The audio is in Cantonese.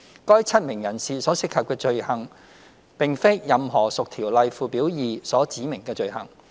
該7名人士所涉及的罪行並非任何屬《條例》附表2所指明的罪行。